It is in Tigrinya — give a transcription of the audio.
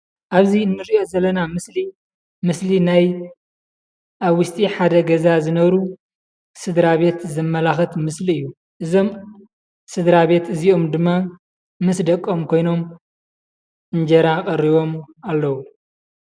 ኣብዚ እንሪኦ ዘለና ምስሊ ምስሊ ናይ ኣብ ውሽጢ ሓደ ገዛ ዝነብሩ ስድራቤት ዘመላክት ምስሊ እዩ። እዞም ስድራቤት እዚኦም ድማ ምስ ደቆም ኮይኖም እንጀራ ቀሪቢም ኣለዉ።